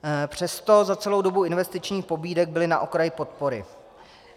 Přesto za celou dobu investičních pobídek byly na okraji podpory.